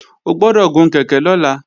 O gbọ́dọ̀ gun kèké lọ́la!